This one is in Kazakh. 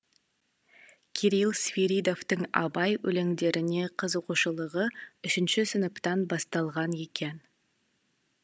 кирилл свиридовтың абай өлеңдеріне қызығушылығы үшінші сыныптан басталған екен